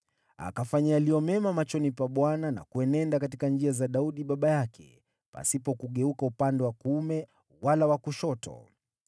Akafanya yaliyo mema machoni pa Bwana na kuenenda katika njia za Daudi baba yake, hakugeuka upande wa kuume wala wa kushoto.